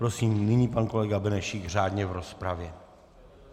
Prosím nyní pan kolega Benešík řádně v rozpravě.